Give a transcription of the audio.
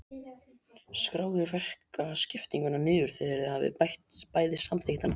Skráið verkaskiptinguna niður þegar þið hafið bæði samþykkt hana.